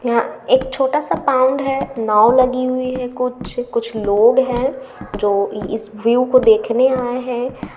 यहा यहाँ एक छोटा सा पाउन्ड है। नाव लगी हुई है कुछ कुछ लोग है जो इस व्यू को देखने आए है।